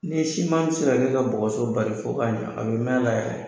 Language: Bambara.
N'i ye, siman tɛ se ka bɔgɔso bari, fɔ k'a ɲɛ, a bɛ mɛn a la yɛrɛ!